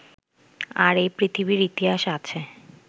আর এই পৃথিবীর ইতিহাস আছে